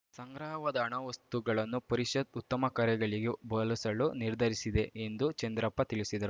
ಸಂಗ್ರಹವಾದ ಹಣ ವಸ್ತುಗಳನ್ನು ಪರಿಷತ್‌ ಉತ್ತಮ ಕಾರ್ಯಗಳಿಗೆ ಬಳಸಲು ನಿರ್ಧರಿಸಿದೆ ಎಂದು ಚಂದ್ರಪ್ಪ ತಿಳಿಸಿದರು